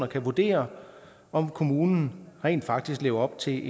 kan vurdere om kommunerne rent faktisk lever op til